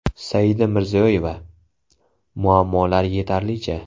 Saida Mirziyoyeva: Muammolar yetarlicha.